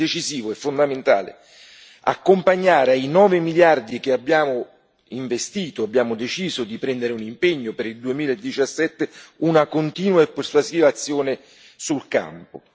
È decisivo e fondamentale accompagnare ai nove miliardi che abbiamo investito, abbiamo deciso di prendere un impegno per il 2017, una continua e costruttiva azione sul campo